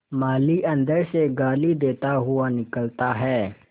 माली अंदर से गाली देता हुआ निकलता है